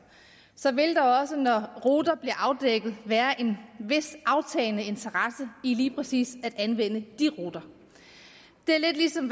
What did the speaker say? så vil der også når ruter afdækket være en vis aftagende interesse lige præcis at anvende de ruter det er lidt ligesom